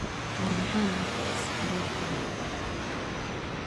War maxaa nokicise arortan.